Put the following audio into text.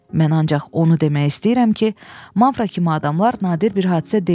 Mən ancaq onu demək istəyirəm ki, Mavra kimi adamlar nadir bir hadisə deyil.